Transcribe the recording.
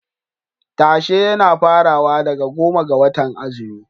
Tashe yana farawa daga goma ga watan azumi.